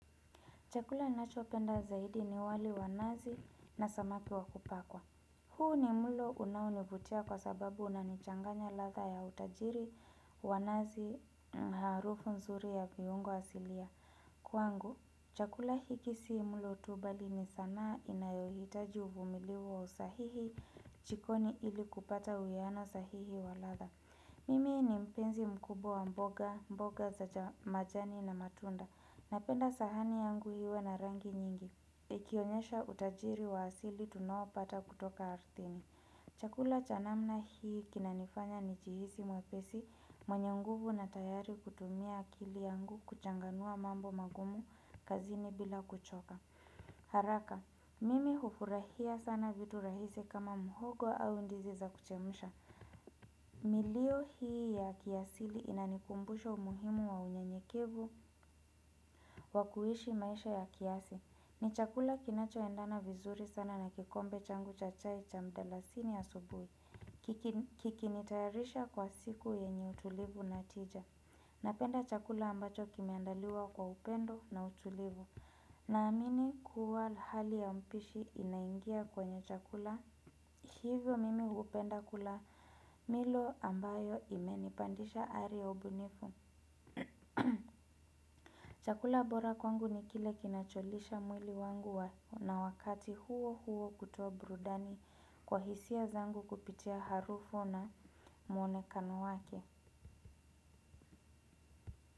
Chakula ninachopenda zaidi ni wali wa nazi na samaki wakupakwa. Huu ni mlo unaonivutia kwa sababu unanichanganya ladha ya utajiri wa nazi na harufu nzuri ya viungo asilia. Kwangu, chakula hiki si mulo tu bali ni sanaa inayohitaji uvumilivu wa usahihi chikoni ili kupata uiano sahihi wa ladha. Mimi ni mpenzi mkubwa wa mboga, mboga za majani na matunda. Napenda sahani yangu iwe na rangi nyingi, ikionyesha utajiri wa asili tunaopata kutoka arthini. Chakula cha namna hii kinanifanya ni jihisi mwepesi mwenye nguvu na tayari kutumia akili yangu kuchanganua mambo magumu kazini bila kuchoka. Haraka, mimi hufurahia sana vitu rahisi kama mhogo au ndizi za kuchemusha. Milio hii ya kiasili inanikumbusha umuhimu wa unyenyekevu wa kuishi maisha ya kiafya. Ni chakula kinacho endana vizuri sana na kikombe changu cha chai cha mdalasini asubui. Kikini tayarisha kwa siku yenye utulivu na tija. Napenda chakula ambacho kimeandaliwa kwa upendo na utulivu. Na amini kuwa hali ya mpishi inaingia kwenye chakula. Hivyo mimi hupenda kula milo ambayo imenipandisha ari ya ubunifu. Chakula bora kwangu ni kile kinacholisha mwili wangu wa na wakati huo huo kutoa brudani kwa hisia zangu kupitia harufu na mwonekano wake.